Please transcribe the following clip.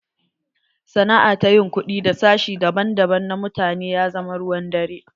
Sana'a ta yin kuɗi da sashi daban daban na mutane ya zama ruwan dare.